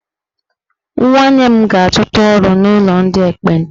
Nwanne m ga-achọta ọrụ n'ụlọ ndị ekpenta